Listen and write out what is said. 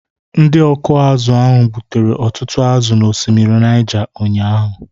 Ndị ọkụ azụ̀ ahụ gbutere ọtụtụ azụ̀ n'osimiri Niger ụnyahụ